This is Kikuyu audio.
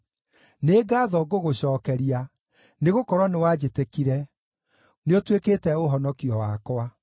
Nĩ ngaatho ngũgũcookeria, nĩgũkorwo nĩwanjĩtĩkire; nĩũtuĩkĩte ũhonokio wakwa.